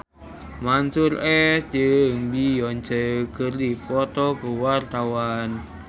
Mansyur S jeung Beyonce keur dipoto ku wartawan